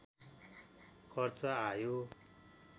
खर्च आयो